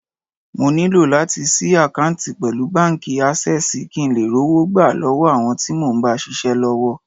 Mo nílò láti ṣí àkántì pẹ̀lú báńkì Ásẹ́sìì kín ńlè rówó gbà lọ́wọ́ àwọn tí mo ń bá ṣisẹ́ l'ọ́wọ́.